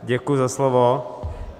Děkuji za slovo.